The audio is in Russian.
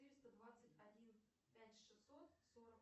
четыреста двадцать один пять шестьсот сорок